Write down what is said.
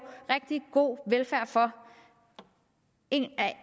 rigtig god velfærd for og